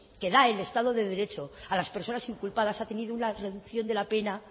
que da el estado de derecho a las personas inculpadas ha tenido una reducción de la pena